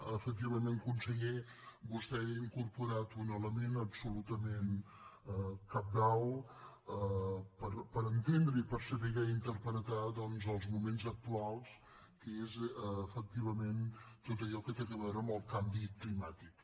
efectivament conseller vostè ha incorporat un element absolutament cabdal per entendre i per saber interpretar doncs els moments actuals que és efectivament tot allò que té a veure amb el canvi climàtic